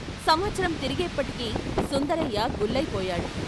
సంవత్సరం తిరిగేప్పటికి సుందరయ్య గుల్లయిపోయాడు.